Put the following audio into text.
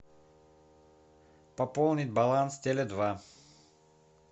пополнить баланс теле два